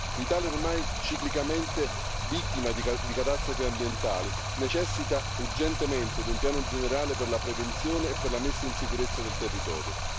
L'Italia è ormai ciclicamente vittima di catastrofi ambientali e necessita urgentemente di un piano generale per la prevenzione e per la messa in sicurezza del territorio.